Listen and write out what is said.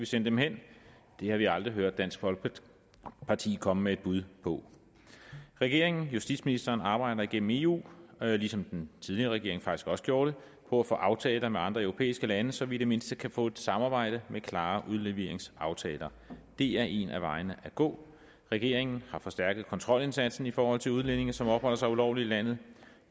sende dem hen det har vi aldrig hørt dansk folkeparti komme med et bud på regeringen og justitsministeren arbejder igennem eu ligesom den tidligere regering faktisk også gjorde det på at få aftaler med andre europæiske lande så vi i det mindste kan få et samarbejde med klare udleveringsaftaler det er en af vejene at gå regeringen har forstærket kontrolindsatsen i forhold til udlændinge som opholder sig ulovligt i landet